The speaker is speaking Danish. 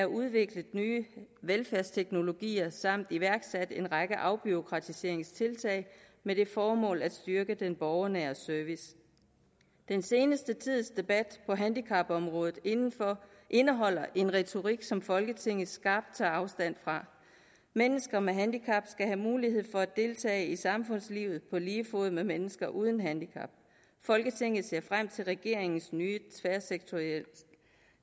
udviklet nye velfærdsteknologier samt iværksat en række afbureaukratiseringstiltag med det formål at styrke den borgernære service den seneste tids debat på handicapområdet indeholder en retorik som folketinget skarpt tager afstand fra mennesker med handicap skal have mulighed for at deltage i samfundslivet på lige fod med mennesker uden handicap folketinget ser frem til regeringens nye tværsektorielle